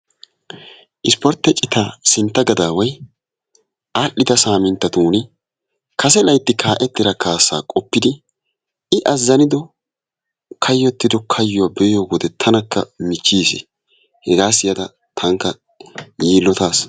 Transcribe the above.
Isporttiyaa citaa siintta gadaway al"idda saminttatuni kase laytti kaa"ettida kasaa qoopidi i azzanido kaayyottido kaayuwaa qoppiyoode tanakka miichchiis. hegaa siyyada tankka yiillotaas.